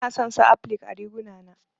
Bana son su applique ã riguna na.